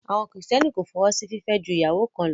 Àwọn kìrìtẹ́nì kò fọwọ́ sí fìfẹ́ ju ìyàwó kan lọ